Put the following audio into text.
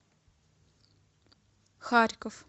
харьков